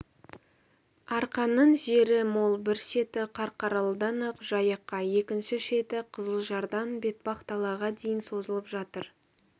арқаның жері мол бір шеті қарқаралыдан ақ жайыққа екінші шеті қызылжардан бетпақдалаға дейін созылып жатыр